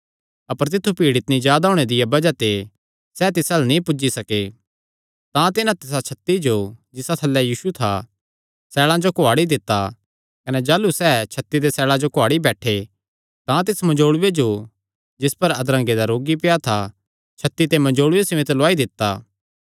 अपर तित्थु भीड़ इतणी जादा होणे दिया बज़ाह ते सैह़ तिस अल्ल नीं पुज्जी सके तां तिन्हां तिसा छत्ती जो जिसा थल्लैं यीशु था सैल़ां जो कुआड़ी दित्ता कने जाह़लू सैह़ छत्ती दे सैल़ां जो कुआड़ी बैठे तां तिस मंजोल़ूये जो जिस पर अधरंगे दा रोगी पेआ था छत्ती ते मंजोल़ूये समेत लुआई दित्ता